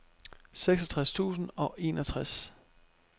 seksogtres tusind og enogtres